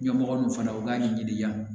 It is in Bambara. Ɲɛmɔgɔ ninnu fana u k'a ɲɛɲini yan